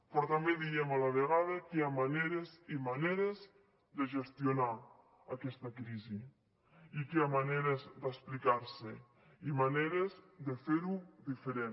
però també diem a la vegada que hi ha maneres i maneres de gestionar aquesta crisi i que hi ha maneres d’explicar se i maneres de fer ho diferent